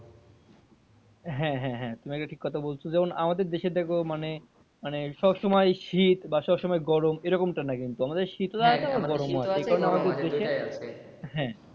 হ্যাঁ হ্যাঁ হ্যাঁ তুমি এটা ঠিক কথা বলছ যেমন আমাদের দেশে দেখো মানে মানে সবসময় শীত বা সবসময় গরম এরকম টা নয় কিন্তু আমদের শীত ও আছে গরম ও আছে এই কারনে আমাদের দেশে, হ্যাঁ।